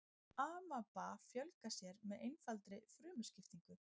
amaba fjölgar sér með einfaldri frumuskiptingu